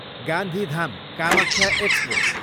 Gandhidham, Kamakhya express